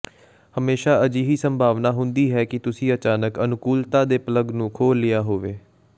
ਹਮੇਸ਼ਾਂ ਅਜਿਹੀ ਸੰਭਾਵਨਾ ਹੁੰਦੀ ਹੈ ਕਿ ਤੁਸੀਂ ਅਚਾਨਕ ਅਨੁਕੂਲਤਾ ਦੇ ਪਲੱਗ ਨੂੰ ਖੋਹ ਲਿਆ ਹੋਵੇ